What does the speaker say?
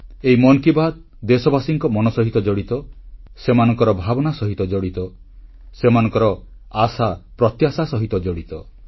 ଏହି ମନ୍ କି ବାତ୍ ଦେଶବାସୀଙ୍କ ମନ ସହ ଜଡ଼ିତ ସେମାନଙ୍କ ଭାବନା ସହିତ ଜଡ଼ିତ ସେମାନଙ୍କ ଆଶାପ୍ରତ୍ୟାଶା ସହ ଜଡ଼ିତ